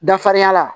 Dafarinya la